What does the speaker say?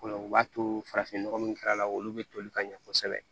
O la o b'a to farafin nɔgɔ min kɛra a la olu bɛ toli ka ɲɛ kosɛbɛ